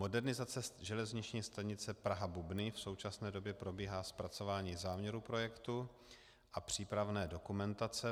Modernizace železniční stanice Praha-Bubny, v současné době probíhá zpracování záměru projektu a přípravné dokumentace.